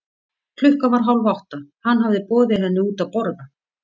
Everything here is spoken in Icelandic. Klukkan var hálf átta, hann hafði boðið henni henni út að borða.